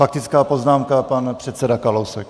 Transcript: Faktická poznámka, pan předseda Kalousek.